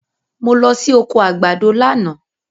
Mo lọ sí oko àgbàdo lánàá